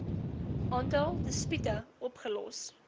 aantal dispute opgelos